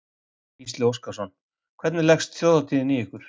Gísli Óskarsson: Hvernig leggst Þjóðhátíðin í ykkur?